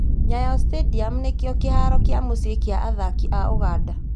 Nyayo stadium nĩkĩo kĩharo kĩa mũciĩ kĩa athaki a Ũganda